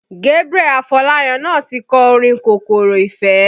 Gabriel Afolayan náà ti kọ orin kòkòrò Ìfẹ́